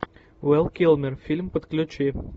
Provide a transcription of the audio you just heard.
вэл килмер фильм подключи